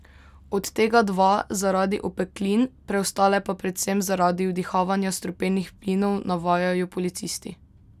Od tega dva zaradi opeklin, preostale pa predvsem zaradi vdihavanja strupenih plinov, navajajo policisti.